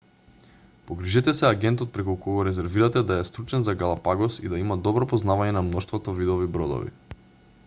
погрижете се агентот преку кого резервирате да е стручен за галапагос и да има добро познавање на мноштвото видови бродови